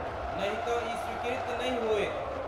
नहि तँ ई स्वीकृत नहि होयत।